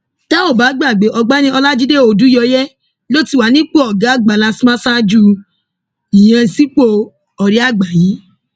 tẹ ò bá gbàgbé ọgbẹni ọlajide odùyọyẹ ló ti wà nípò ọgá àgbà lastma ṣáájú ìyànsípò ọrẹ àgbà yìí